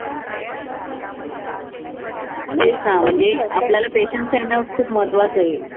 तेच ना म्हणजे आपल्याला patience ठेवणं खूप महत्वाचं आहे.